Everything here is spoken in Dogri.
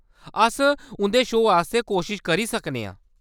अस उंʼदे शो आस्तै कोशश करी सकने आं।